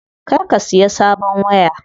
Kar ka siya sabon waya.